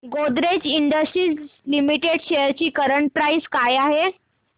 Godrej industries limited shares ची current price काय आहे